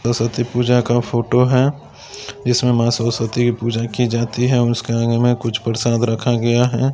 सरस्वती पूजा का फोटो है जिसमे माँ सरस्वती की पूजा की जाती है और उसके आगे कुछ प्रसाद रखा गया है।